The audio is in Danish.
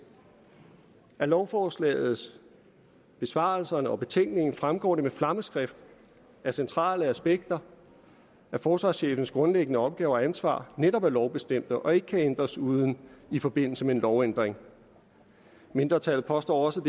af lovforslaget besvarelserne og betænkningen fremgår det med flammeskrift at centrale aspekter af forsvarschefens grundlæggende opgaver og ansvar netop er lovbestemte og ikke kan ændres uden i forbindelse med en lovændring mindretallet påstår også